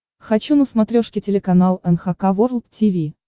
хочу на смотрешке телеканал эн эйч кей волд ти ви